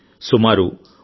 సుమారు 1